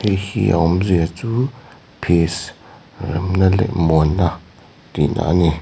heihi a awmzia chu peace remna leh muan na tih na ani.